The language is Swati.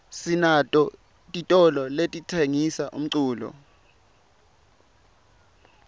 sinato titolo letitsengisa umculo